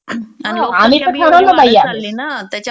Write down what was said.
आम्ही तर ठरवलं बाई आता.